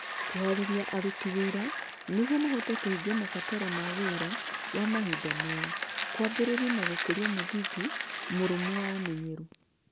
Kũhaarĩria aruti wĩra nĩguo mahote kũhingia mabataro ma wĩra wa mahinda maya kwambĩrĩria na gũkũria mũthingi mũrũmu wa ũmenyeru.